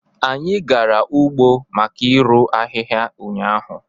Anyi gara ugbo maka irụ ahịhịa ụnyahụ